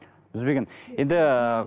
үзбеген енді